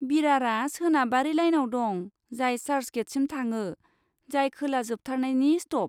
बिरारआ सोनाबारि लाइनआव दं जाय चार्चगेटसिम थाङो, जाय खोला जोबथारनायनि स्ट'प।